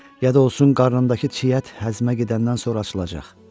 Ya da olsun qarnındakı çiy ət həzmə gedəndən sonra açılacaq.